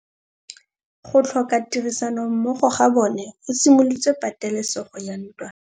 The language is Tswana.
Go tlhoka tirsanommogo ga bone go simolotse patêlêsêgô ya ntwa.